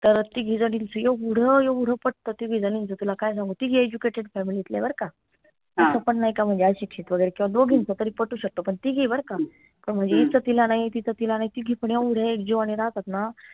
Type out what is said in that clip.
तर तिघी झणींच येवढ येवढ पटत तिघी झणींच तुला काय सांगू तिघी educated family लीतल्या बर का पन नाई का म्हनजे अशिक्षित वगैरे किंव्हा दोघींचं तरी पटू शकत पन तिघी बर का पन म्हनजे इच तिला नाई तीच तिला नाई तिघी पण येवढ्या एक जिवांनी राहतात ना